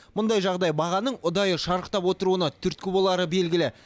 мұндай жағдай бағаның ұдайы шарықтап отыруына түрткі болары белгілі